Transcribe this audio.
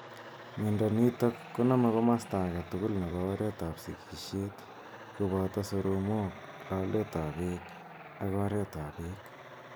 miondo nitok koname komasta agetugul nepo oreet ap sigisheet koboto soromok, lolet ap beek ak oreet ap beek.